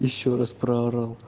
ещё раз проорал